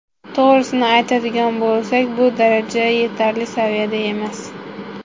To‘g‘risini aytadigan bo‘lsak, bu daraja yetarli saviyada emas.